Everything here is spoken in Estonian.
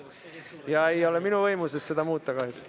Ja minu võimuses ei ole seda muuta, kahjuks.